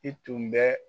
I tun bɛ